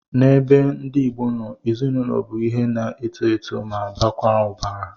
N'ebe ndị Igbo no, ezinụlọ bụ ihe na-eto eto ma baakwa ụbara